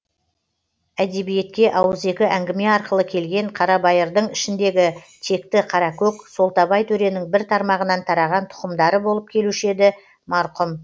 әдебиетке ауызекі әңгіме арқылы келген қарабайырдың ішіндегі текті қаракөк солтабай төренің бір тармағынан тараған тұқымдары болып келуші еді марқұм